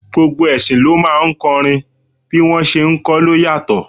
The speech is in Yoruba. Gbogbo ẹṣin ló máa ń kọrin, bí wọ́n ṣé ń kọ ló yàtọ̀.